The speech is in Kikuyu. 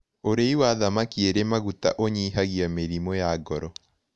Ũrĩĩ wa thamakĩ ĩrĩ magũta ũnyĩhagĩa mĩrĩmũ ya ngoro